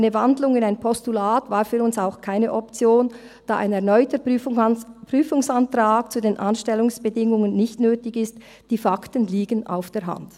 Eine Wandlung in ein Postulat war für uns auch keine Option, da ein erneuter Prüfungsantrag zu den Anstellungsbedingungen nicht nötig ist, denn die Fakten liegen auf der Hand.